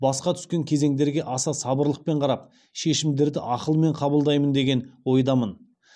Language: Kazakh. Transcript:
басқа түскен кезеңдерге аса сабырлықпен қарап шешімдерді ақылмен қабылдаймын деген ойдамын